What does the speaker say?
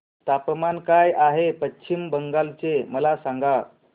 तापमान काय आहे पश्चिम बंगाल चे मला सांगा